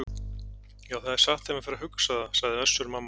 Já, það er satt þegar maður fer að hugsa það, sagði Össur-Mamma.